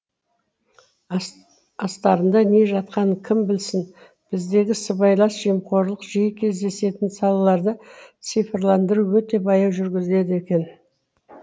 астарында не жатқанын кім білсін біздегі сыбайлас жемқорлық жиі кездесетін салаларда цифрландыру өте баяу жүргізіледі екен